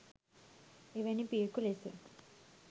එවැනි පියකු ලෙස